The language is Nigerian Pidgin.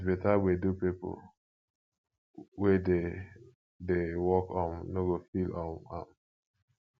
with better gbedu pipo wey dey dey work um no go feel um am